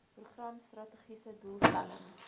program strategiese doelstelling